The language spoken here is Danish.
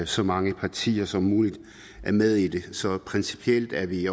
så mange partier som muligt er med i det så principielt er vi